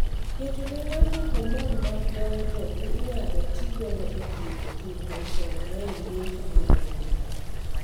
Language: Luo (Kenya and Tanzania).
Keto ne ngato hormone mag dongo inyalo ti godo e thietho thirno koda rem guecho mar adundo.